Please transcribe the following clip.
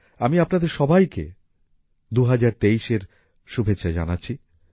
আমি আপনাদের সবাইকে ২০২৩ এর শুভেচ্ছা জানাচ্ছি